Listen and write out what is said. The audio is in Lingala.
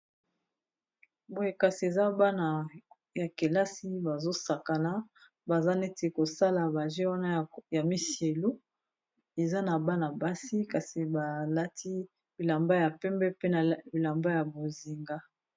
Boye kasi eza bana ya kelasi bazosakana baza neti kosala ba jeux wana ya misilu eza na bana basi kasi balati bilamba ya pembe pe na bilamba ya bozinga.